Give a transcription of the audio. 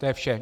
To je vše.